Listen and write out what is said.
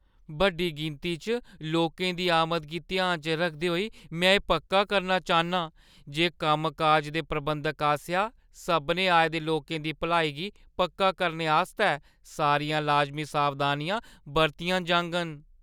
बड्डी गिनती च लोकें दी आमद गी ध्याना च रखदे होई, में एह् पक्का करना चाह्‌न्नां जे कम्मकाज दे प्रबंधक आसेआ सभनें आए दे लोकें दी भलाई गी पक्का करने आस्तै सारियां लाजमी सावधानियां बरतियां जाङन।